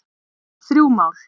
Þrjú mál